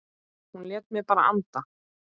Hann lét mig bara anda.